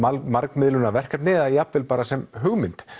margmiðlunarverkefni eða jafnvel bara sem hugmynd